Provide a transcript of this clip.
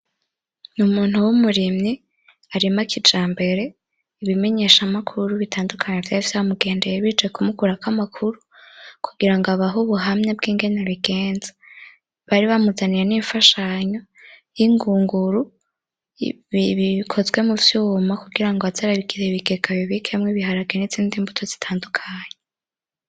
N'umuntu w'umurimyi arima kijambere ibimenyesha makuru bitandukanye vyari vyamigendeye bije kumukurako amakuru kugirango abahe ubuhamya bw'ingene babigenza bari bamuzaniye n'imfashanyo y'ingunguru bikozwe muvyuma kugira ngo aze arabigira ibigega abibikemwo ibiharahe n'izindi mbuto zitandukanye